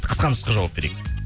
қысқа нұсқа жауап берейік